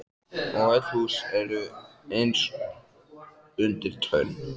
Og öll hús eru eins undir tönn.